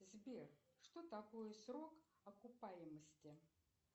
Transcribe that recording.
сбер что такое срок окупаемости